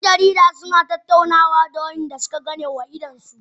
Dan jaridar yana tattaunawa da wadanda suka ganewa idanunsu